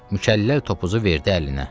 Mükəlləl topuzu verdi əlinə.